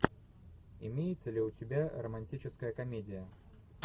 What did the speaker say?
имеется ли у тебя романтическая комедия